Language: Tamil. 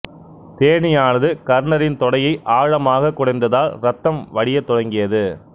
தேனீயானது கர்ணரின் தொடையை ஆழமாகக் குடைந்ததால் இரத்தம் வடியத் தொடங்கியது